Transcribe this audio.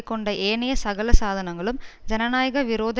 கொண்ட ஏனைய சகல சாதனங்களும் ஜனநாயக விரோத